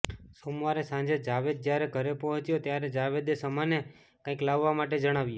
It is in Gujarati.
સોમવારે સાંજે જાવેદ જ્યારે ઘરે પહોંચ્યો ત્યારે જાવેદે શમાને કાંઈક લાવવા માટે જણાવ્યું